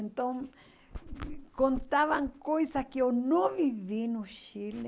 Então, contavam coisas que eu não vivi no Chile,